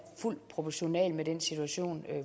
fuldt proportional med den situation